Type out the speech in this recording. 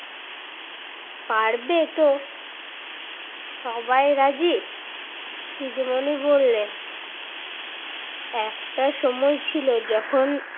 পারবে তো? সবাই রাজি? দিদিমণি বললেন, একটা সময় ছিল যখন